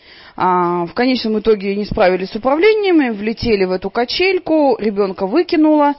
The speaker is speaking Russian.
в конечном итоге они справились с управлением и влетели в эту качельку ребёнка выкинууло